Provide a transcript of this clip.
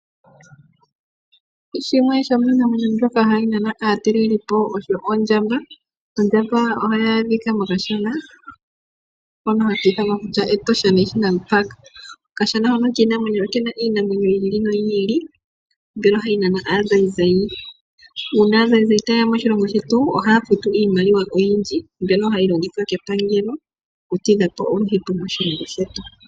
Shimwe shomiinamwenyo mbyoka hayi nana aatalelipo osho ondjamba. Ondjamba ohayi adhika mokashana hono haka ithanwa kutya Etosha National Park. Okashana hono kiinamwenyo okena iinamwenyo yi ili noyi ili mbyono hayi nana aazayizayi. Uuna aazayizayi ta yeya moshilongo shetu, ohaa futu iimaliwa oyindji mbyono hayi longithwa kepangelo okutidha po oluhepo moshilongo shetu.